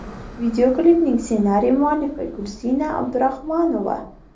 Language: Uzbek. Videoklipning ssenariy muallifi Gulsina Abdurahmanova.